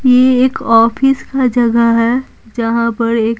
ये एक ऑफिस का जगह है जहां पर एक।